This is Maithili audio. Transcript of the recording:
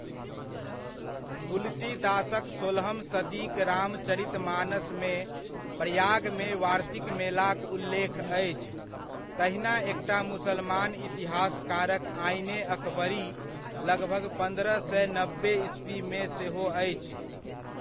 तुलसीदासक सोलहम सदीक रामचरितमानसमे प्रयागमे वार्षिक मेलाक उल्लेख अछि, तहिना एकटा मुसलमान इतिहासकारक आइन ए अकबरी, लगभग पन्द्रह सए नब्बे ईस्वीमे सेहो अछि।